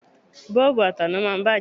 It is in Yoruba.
Bọ́ọ̀bù ataná máa ń bàjẹ́.